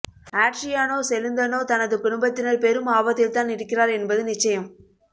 Adriano Celentano தனது குடும்பத்தினர் பெரும் ஆபத்தில்தான் இருக்கிறார் என்பது நிச்சயம்